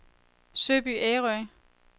Søby Ærø